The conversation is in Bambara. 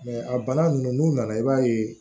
a bana ninnu n'u nana i b'a ye